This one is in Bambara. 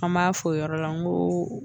An m'a fɔ o yɔrɔ la n ko